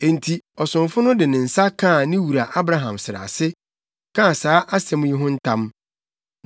Enti, ɔsomfo no de ne nsa kaa ne wura Abraham srɛ ase, kaa saa asɛm yi ho ntam.